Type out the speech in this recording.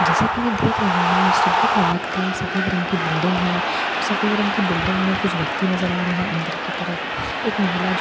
जैसे कि मैं देख रही हूं सुबह का वक्त है सफेद रंग की बिल्डिंग है सफेद रंग की बिल्डिंग में कुछ व्यक्ति नजर आ रहे हैं अंदर की तरफ एक महिला जो गुलाबी रंग का--